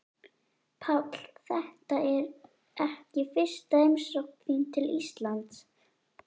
Páll: Þetta er ekki fyrsta heimsókn þín til Íslands?